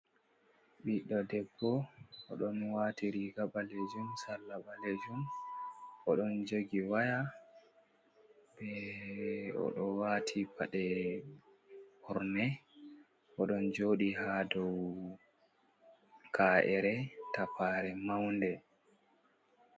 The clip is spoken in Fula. Biɗdo, debbo odon watiriga ballejum, sala balejum, odon jogi waya be odo wati pade burne odon jodi ha dow ka’ere tappare maunde.